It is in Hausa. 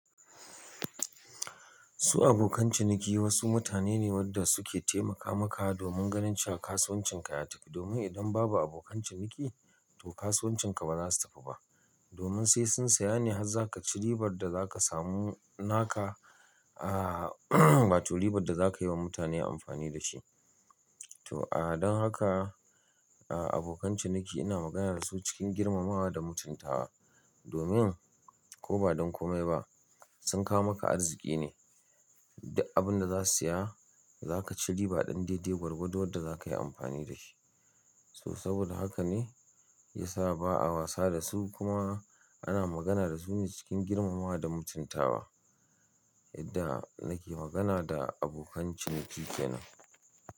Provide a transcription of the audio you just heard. Su abokan ciniki wasu mutane ne wanda suke taimaka maka domin ganin cewa kasuwancin ka ya tafi. Domin idan babu abokan ciniki to kasuwancin ka ba za su tafi ba. Domin sai sun saya ne har za ka ci riba da za ka samu naka a to riba da za ka yi wa mutane amfani da shi. To, a don haka, a abokan ciniki ina magana da su cikin girmamawa da mutuntawa. Domin ko ba don komai ba sun kawo maka arziki ne. Duk abin da za su saya za ka ci riba ɗan daidai gwargwadon wadda za ka yi amfani da shi. So saboda haka ne ya sa ba a wasa da su kuma ana magana da su ne cikin girmamawa da mutuntawa. Yadda nake magana da abokan ciniki kenan.